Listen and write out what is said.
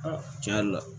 tiɲɛ yɛrɛ la